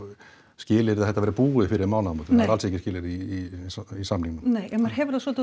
skilyrði að þetta verði búið fyrir mánaðamót það er alls ekki skilyrði í í samningnum nei en maður hefur það svolítið